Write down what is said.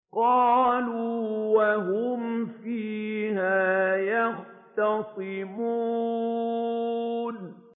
قَالُوا وَهُمْ فِيهَا يَخْتَصِمُونَ